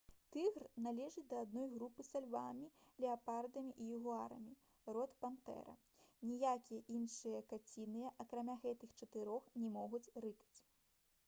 тыгр належыць да адной групы са львамі леапардамі і ягуарамі род пантэра. ніякія іншыя каціныя акрамя гэтых чатырох не могуць рыкаць